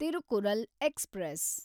Tirukkural express